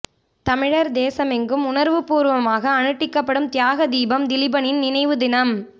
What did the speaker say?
தமிழர் தேசமெங்கும் உணர்வுபூர்வமாக அனுட்டிக்கப்படும் தியாக தீபம் திலீபனின் நினைவு தினம்